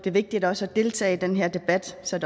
det vigtigt også at deltage i den her debat så